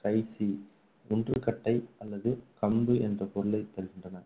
க்ரைசி ஊன்று கட்டை அல்லது கம்பு என்ற பொருளைத்தருகின்றன.